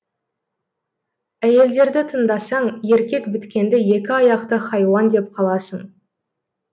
әйелдерді тыңдасаң еркек біткенді екі аяқты хайуан деп қаласың